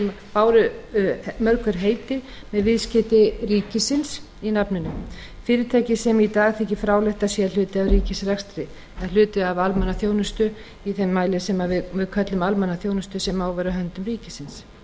báru mörg hver heiti með viðskeyti ríkisins í nafninu fyrirtæki sem í dag þykir fráleitt að séu hluti af ríkisrekstri hluti af almannaþjónustu í þeim mæli sem við köllum almannaþjónustu sem á að vera á höndum ríkisins